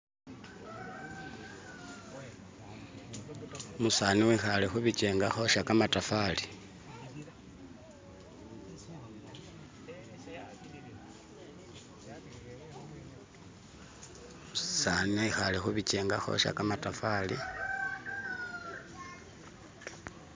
umusani wehale hubichenga hosha kamatafali umusani ihale hubichenga hosha kamatafali